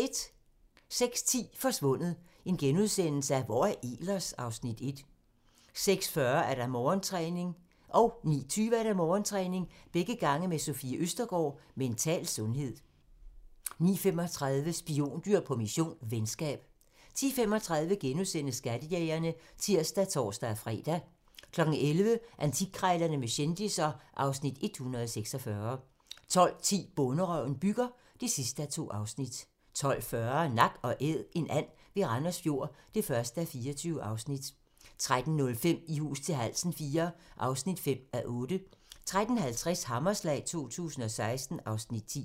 06:10: Forsvundet - Hvor er Ehlers? (Afs. 1)* 06:40: Morgentræning: Sofie Østergaard -mental sundhed 09:20: Morgentræning: Sofie Østergaard -mental sundhed 09:35: Spiondyr på mission - venskab 10:35: Skattejægerne *(tir og tor-fre) 11:00: Antikkrejlerne med kendisser (Afs. 146) 12:10: Bonderøven bygger (2:2) 12:40: Nak & Æd - en and ved Randers Fjord (1:24) 13:05: I hus til halsen IV (5:8) 13:50: Hammerslag 2016 (Afs. 10)